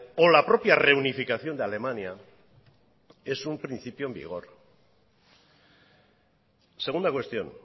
o la propia reunificación de alemania es un principio en vigor segunda cuestión